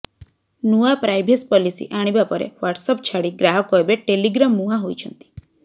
ନୂଆ privacy policy ଆଣିବା ପରେ ହ୍ୱାଟ୍ସଆପ୍ ଛାଡ଼ି ଗ୍ରାହକ ଏବେ ଟେଲିଗ୍ରାମ ମୁହାଁ ହୋଇଛନ୍ତି